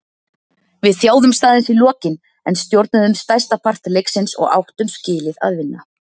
Við þjáðumst aðeins í lokin en stjórnuðum stærsta part leiksins og áttum skilið að vinna.